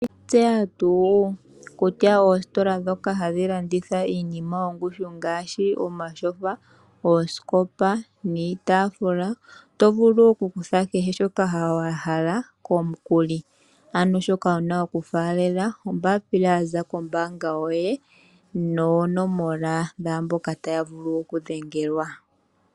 Oweshi tseya tu kutya oositola dhoka hadhi landitha iinima yongushu ngaashi omashofa, oosikopa niitafula, oto vulu oku kutha kehe shoka wahala komukuli ano shoka wuna oku falela ombaapila yaza kombaanga yoye noonomola dhaamboka taya vulu oku dhengelwa.